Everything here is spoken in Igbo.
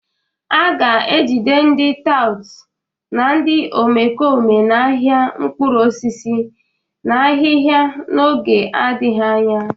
A ga-ejide ndị tout na ndị omekome nọ n'ahịa mkpụrụ osisi na ahịhịa n'oge adịghị anya